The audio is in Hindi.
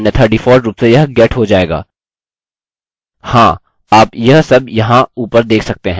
हमें post का method चाहिए अन्यथा डिफॉल्ट रूप में यह get हो जाएगा हाँ आप यह सब यहाँ ऊपर देख सकते हैं